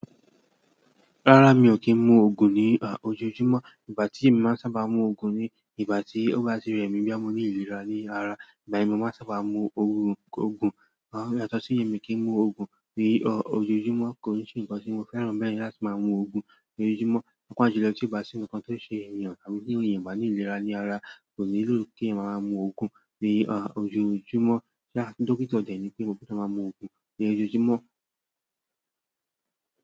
Rárá mi ò kí ń mu ògùn ní ọ, ojoojúmọ́. Ìgbà tí mi máa ń sábà mu ògùn ni ìgbà tí ó bá ti rẹ̀ mí bí a mo ní ìlera ní ara. Ìgbà ye n ni mó máa ń sábà mu Ògùn, Ògùn. Ìgbà mí kí ń mu ògùn ní ọ, ojoojúmọ́ kò n ṣe ǹkan tí mo fẹ́ràn bẹ́ẹ̀ láti máa mu ògùn ní ojoojúmọ́. Papa jùlọ tí ó bá sí ǹkan tó ṣe èèyàn àbí ti eeyan o ba ní ìlera ní ara kò nílò kí ẹyan máa máa mu ògùn ní ọ, ojoojúmọ́. Ṣé a ti dókítà tẹ̀lé ni pé mo kò ṣe máa mu ògùn ní ojoojúmọ́.